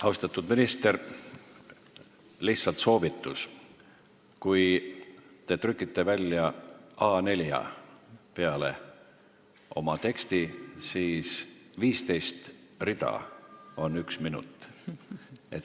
Austatud minister, lihtsalt soovitus: kui te trükite oma teksti A4 peale välja, siis 15 rida on üks minut.